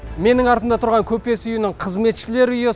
менің артымда тұрған көпес үйінің қызметшілер үйі